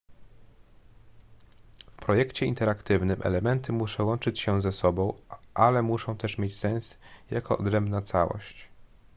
w projekcie interaktywnym elementy muszą łączyć się ze sobą ale muszą też mieć sens jako odrębna całość